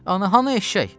Ana, hanı eşşək?